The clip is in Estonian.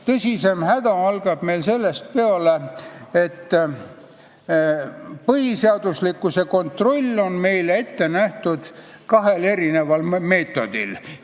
Tõsisem häda algab peale sellest, et põhiseaduslikkuse kontroll on meil ette nähtud kahel meetodil.